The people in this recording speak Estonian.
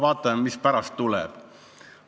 Vaatame, mis pärast tuleb.